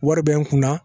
Wari bɛ n kunna